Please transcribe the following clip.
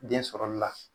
Den sɔrɔli la